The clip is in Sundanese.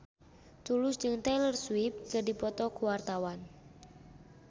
Tulus jeung Taylor Swift keur dipoto ku wartawan